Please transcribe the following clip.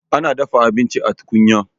Ana dafa abinci a tukunya.